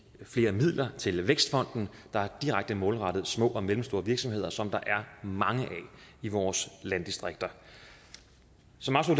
flere midler til vækstfonden der er direkte målrettet små og mellemstore virksomheder som der er mange af i vores landdistrikter